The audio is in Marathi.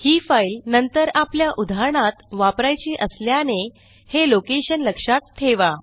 ही फाईल नंतर आपल्या उदाहरणात वापरायची असल्याने हे लोकेशन लक्षात ठेवा